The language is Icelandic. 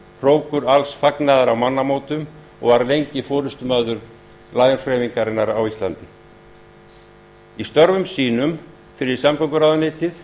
hrókur alls fagnaðar á mannamótum og var lengi forustumaður lions hreyfingarinnar á íslandi í störfum sínum fyrir samgönguráðuneytið